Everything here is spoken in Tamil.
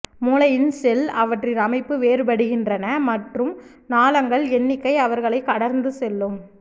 மூளையின் ஷெல் அவற்றின் அமைப்பு வேறுபடுகின்றன மற்றும் நாளங்கள் எண்ணிக்கை அவர்களை கடந்து செல்லும்